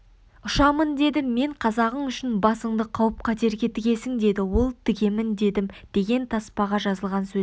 ұшамын дедім мен қазағың үшін басыңды қауіп-қатерге тігесің деді ол тігемін дедім деген таспаға жазылған сөздер